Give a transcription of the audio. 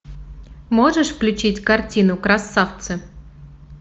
можешь включить картину красавцы